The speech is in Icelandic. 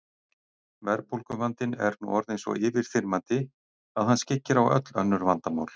Verðbólguvandinn er nú orðinn svo yfirþyrmandi að hann skyggir á öll önnur vandamál.